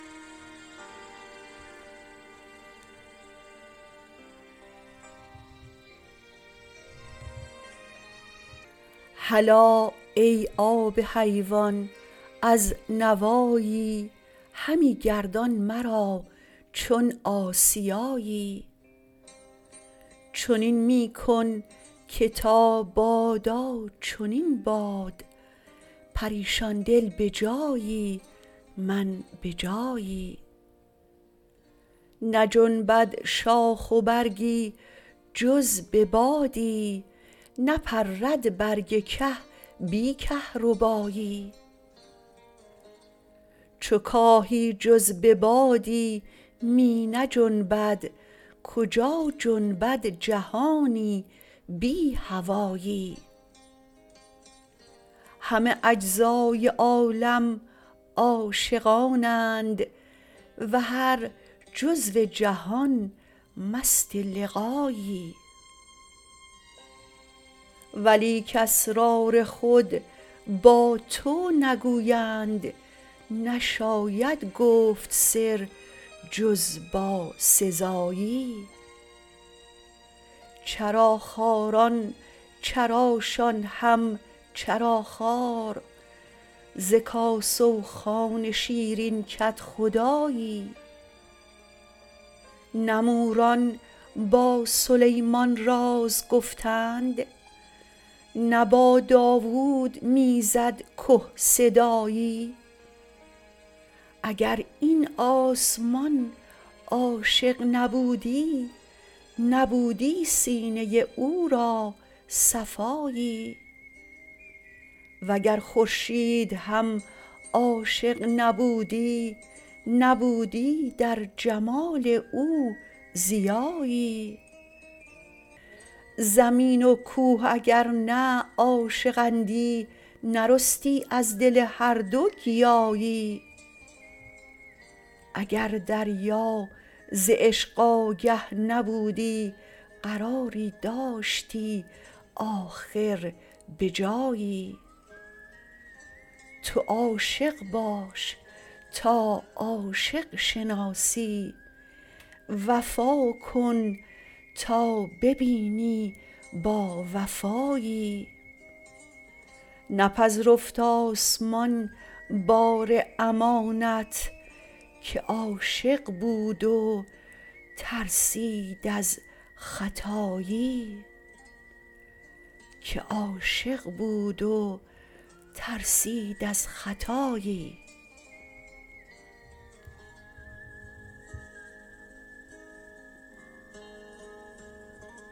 هلا ای آب حیوان از نوایی همی گردان مرا چون آسیایی چنین می کن که تا بادا چنین باد پریشان دل به جایی من به جایی نجنبد شاخ و برگی جز به بادی نپرد برگ که بی کهربایی چو کاهی جز به بادی می نجنبد کجا جنبد جهانی بی هوایی همه اجزای عالم عاشقانند و هر جزو جهان مست لقایی ولیک اسرار خود با تو نگویند نشاید گفت سر جز با سزایی چراخواران چراشان هم چراخوار ز کاسه و خوان شیرین کدخدایی نه موران با سلیمان راز گفتند نه با داوود می زد که صدایی اگر این آسمان عاشق نبودی نبودی سینه او را صفایی وگر خورشید هم عاشق نبودی نبودی در جمال او ضیایی زمین و کوه اگر نه عاشق اندی نرستی از دل هر دو گیاهی اگر دریا ز عشق آگه نبودی قراری داشتی آخر به جایی تو عاشق باش تا عاشق شناسی وفا کن تا ببینی باوفایی نپذرفت آسمان بار امانت که عاشق بود و ترسید از خطایی